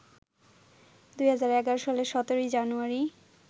২০১১ সালের ১৭ই জানুয়ারি